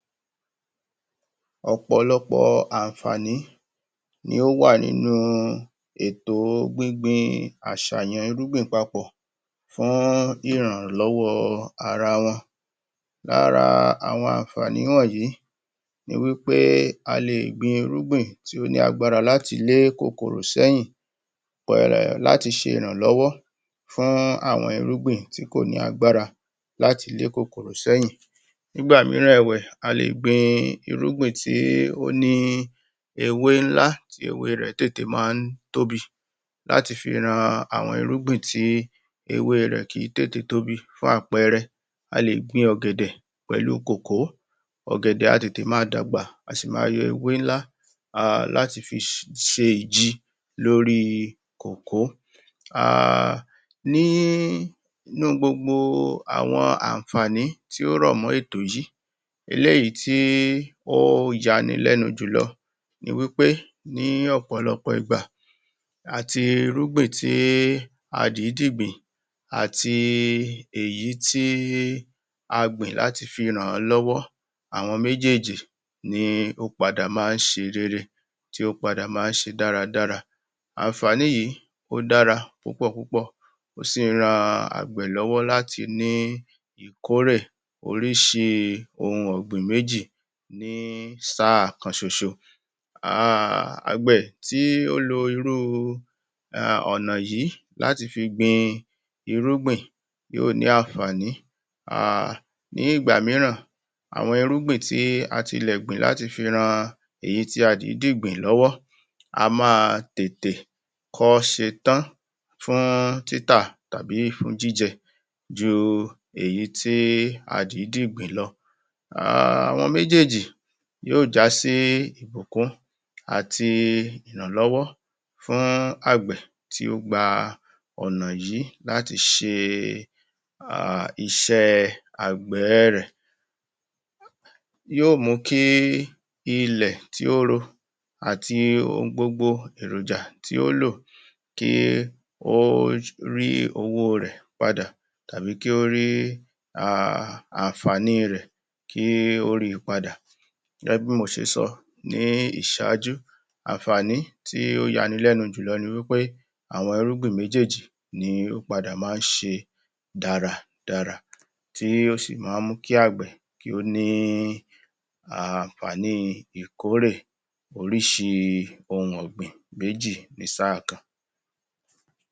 Ọ̀pọ̀lọpọ̀ àǹfààní ni ó wà nínú ètò gbingbin àṣàyàn irúgbìn papọ̀ fún ìrànlọ́wọ́ ara wọn Lára àwọn ànfààní wọnyìí ni wí pé a lè gbin irúgbìn tí ó ní agbára láti lé kòkòrò sẹ́yìn um láti ṣe ìrànlọ́wọ́ fún àwọn irúgbìn tí kò ní agbára láti le kòkòrò sẹ́yìn Nígbà mííran ẹ̀wẹ̀, a lè gbin irúgbìn tí ó ní ewé ńlá tí ewé rẹ̀ tètè máa ń tóbi láti fi ran àwọn irúgbìn tí ewé rẹ̀ kìí tètè tóbi. Fún àpẹẹrẹ a lè gbin ògẹ̀dẹ̀ pẹ̀lu kòkó ògẹ̀dẹ̀ a tètè máa dàgbà, a sì máa yọ ewé ńlá um láti fi ṣe ìji lórí kòkó um nínú gbogbo àwọn ànfààní tí ó rọ̀ mọ́ ètò yìí eléyìí tí ó yani lẹ́nu jùlọ ni wí pé ní ọ̀pọ̀lọpọ̀ ìgbà àti irúgbìn tí a dìídì gbìn àti èyí tí a gbìn láti fi ràn-án lọ́wọ́ àwọn méjéèjì ní o padà máa ń ṣe rere tí ó padà máa ń ṣe dáradára ànfààní yìí ó dára púpọ̀ púpọ̀ ó sì ran àgbẹ̀ lọ́wọ́ láti ní ìkórè oríṣi ohun ọ̀gbìn méjì ní sáà kan ṣoṣo um àgbẹ̀ tí ó lo irú ọ̀nà yìí láti fi gbin irúgbìn yóò ní ànfààní um ní ìgbà mííràn àwọn irúgbìn tí a ti lẹ̀ gbìn láti fi ran èyí tí a dìídì gbìn lọ́wọ́ a máa tètè kọ́ ṣetán fún títà tàbí jíjẹ ju èyí tí a dìídì gbìn lọ um àwọn méjéèjì yóò já sí ìbùkún àti ìrànlọ́wọ́ fún àgbẹ̀ tí ó gba ọ̀nà yìí láti ṣe um iṣẹ́ àgbẹ̀ ẹ rẹ̀ yóò mú kí ilẹ̀ tí ó ro àti ohun gbogbo èròjà tí ó lò kí ó rí owó rẹ̀ padà tàbí kí ó rí um ànfààní rẹ̀ kí ó ri padà gẹ́gẹ́ bí mo ṣe sọ ní ìṣáájú ànfààní tí ó yani lẹ́nu jùlọ ni wí pé àwọn irúgbìn méjéèjì ni ó padà ni ó máa ń ṣe dáradára tí ó sì máa ń mú àgbẹ̀ kí ó ní ànfààní ìkórè oríṣi ohun ọ̀gbìn méjì ní sáà kan